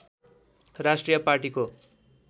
राष्ट्रिय पार्टीको